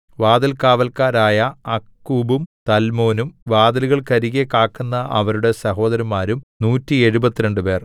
വാതിൽകാവല്ക്കാരായ അക്കൂബും തല്മോനും വാതിലുകൾക്കരികെ കാക്കുന്ന അവരുടെ സഹോദരന്മാരും നൂറ്റി എഴുപത്തിരണ്ട് പേർ